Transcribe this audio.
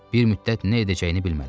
Bir müddət nə edəcəyini bilmədi.